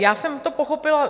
Já jsem to pochopila...